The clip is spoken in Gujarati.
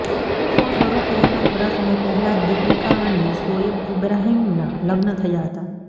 શો શરૂ થયાના થોડા સમય પહેલા જ દીપિકા અને શોએબ ઈબ્રાહિમના લગ્ન થયા હતા